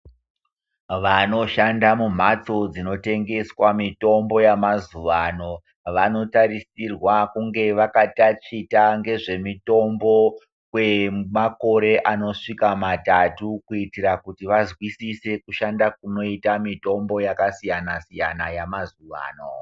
Vanoshanda mumhatso dzinotengeswa mitombo yamazuvano vanotarisirwa kunge vakatachita ngezvemutombo kwemakore anosvika matatu kuitira kuti vazwisise kushanda kunoita mitombo yakasiyana-siyana yamazuvano.